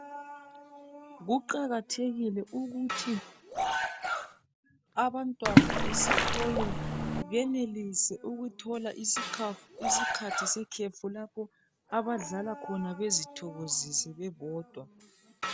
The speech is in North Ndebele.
Kuqakathekile ukuthi abantwana esikolo benelise ukuthola isikhathi sekhefu. Lapho abadlala khona bezithokozise bebodwa.